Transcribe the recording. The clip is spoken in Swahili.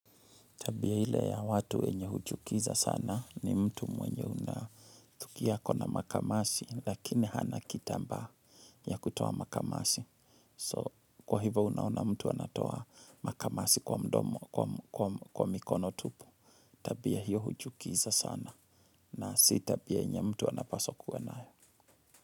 Tabia ile ya watu wenye huchukiza sana ni mtu mwenye unathukia akona makamasi, lakini hana kitambaa ya kutoa makamasi. So, kwa hivo unaona mtu anatoa makamasi kwa mdomo, kwa mikono tupu, tabia hiyo huchukiza sana. Na si tabia yenye mtu anapaswa kuwa nayo.